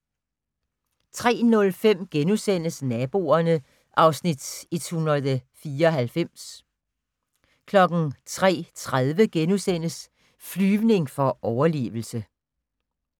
03:05: Naboerne (Afs. 194)* 03:30: Flyvning for overlevelse *